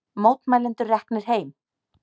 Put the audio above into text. Mótmælendur reknir heim